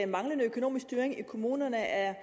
manglende økonomisk styring i kommunerne er